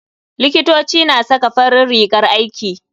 Likitoci na saka farin rigar aiki.